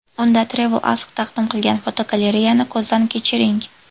Unda TravelAsk taqdim qilgan fotogalereyani ko‘zdan kechiring.